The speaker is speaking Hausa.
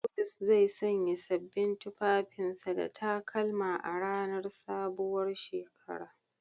Bulus zai sanya sabbin tufafin sa da takalma a ranar sabuwar shekara.